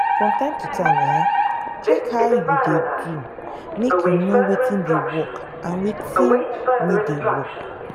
from time to time um check how you dey do make you know wetin dey work and wetin no dey um work